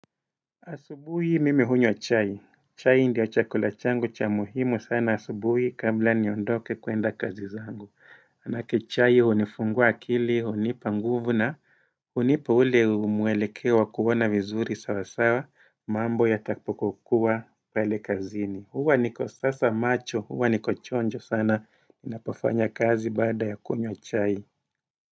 Asubuhi mimi hunywa chai. Chai ndio chakula changu cha muhimu sana asubuhi kabla niondoke kwenda kazi zangu. Manake chai hunifungua akili, hunipa nguvu na, hunipa ule mwelekeo wa kuona vizuri sawasawa, mambo yatakapokua pale kazini. Huwa niko sasa macho, huwa niko chonjo sana, ninapofanya kazi baada ya kunywa chai.